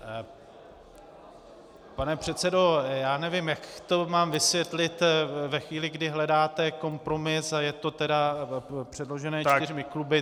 Pane předsedo, já nevím, jak to mám vysvětlit ve chvíli, kdy hledáte kompromis a je to tedy předloženo čtyřmi kluby.